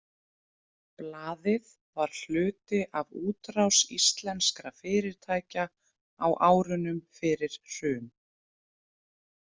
Blaðið var hluti af útrás íslenskra fyrirtækja á árunum fyrir hrun.